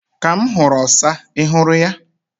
Ka m huru osa. Ị hụrụ ya?